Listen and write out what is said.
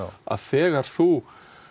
þegar þú